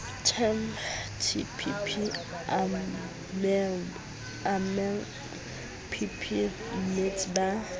temg tpp amemg bpmmete ba